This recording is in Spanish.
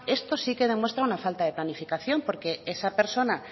esto sí que demuestra una falta de planificación porque esa persona